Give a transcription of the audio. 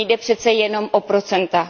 Nejde přece jenom o procenta.